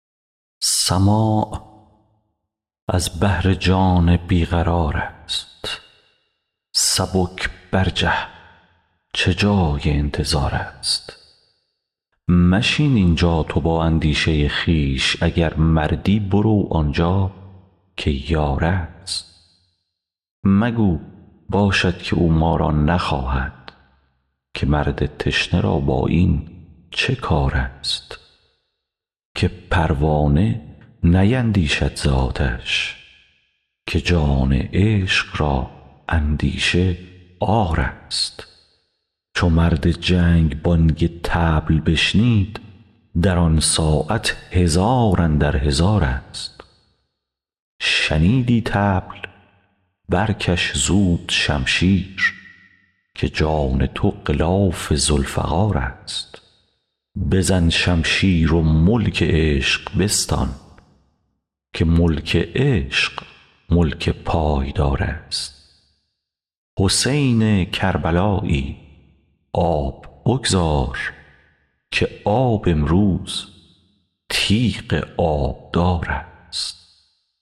سماع از بهر جان بی قرارست سبک برجه چه جای انتظارست مشین این جا تو با اندیشه خویش اگر مردی برو آن جا که یارست مگو باشد که او ما را نخواهد که مرد تشنه را با این چه کارست که پروانه نیندیشد ز آتش که جان عشق را اندیشه عارست چو مرد جنگ بانگ طبل بشنید در آن ساعت هزار اندر هزارست شنیدی طبل برکش زود شمشیر که جان تو غلاف ذوالفقارست بزن شمشیر و ملک عشق بستان که ملک عشق ملک پایدارست حسین کربلایی آب بگذار که آب امروز تیغ آبدارست